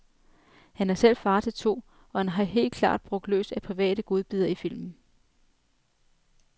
Han er selv far til to, og han har helt klart brugt løs af private godbidder i filmen.